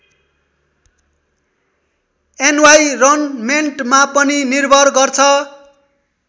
एन्वाइरनमेन्टमा पनि निर्भर गर्छ।